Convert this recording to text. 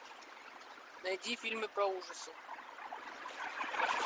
найди фильмы про ужасы